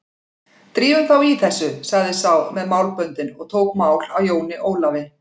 Drífum þá í þessu, sagði sá með málböndin og tók mál af Jóni Ólafi.